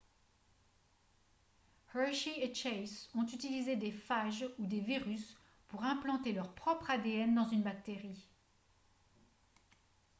hershey et chase ont utilisé des phages ou des virus pour implanter leur propre adn dans une bactérie